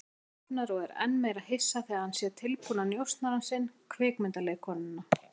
Hann opnar og er enn meira hissa þegar hann sér tilbúna njósnarann sinn, kvikmyndaleikkonuna.